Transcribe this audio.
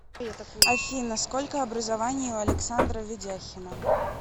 афина сколько образований у александра ведяхина